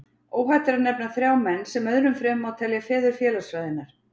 Óhætt er að nefna þrjá menn, sem öðrum fremur má telja feður félagsfræðinnar.